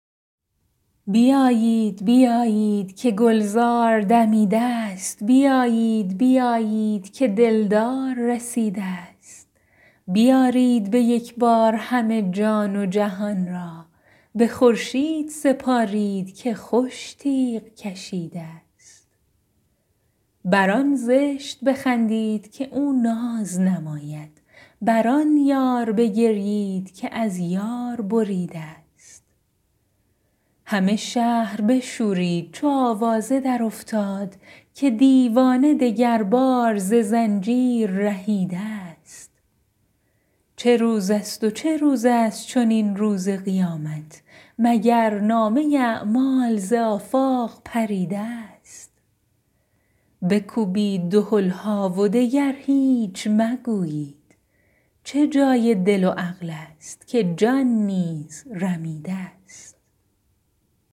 بیایید بیایید که گلزار دمیده ست بیایید بیایید که دلدار رسیده ست بیارید به یک بار همه جان و جهان را به خورشید سپارید که خوش تیغ کشیده ست بر آن زشت بخندید که او ناز نماید بر آن یار بگریید که از یار بریده ست همه شهر بشورید چو آوازه درافتاد که دیوانه دگربار ز زنجیر رهیده ست چه روزست و چه روزست چنین روز قیامت مگر نامه اعمال ز آفاق پریده ست بکوبید دهل ها و دگر هیچ مگویید چه جای دل و عقلست که جان نیز رمیده ست